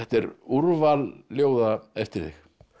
er úrval ljóða eftir þig